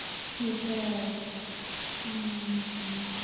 সেটাই, উম হম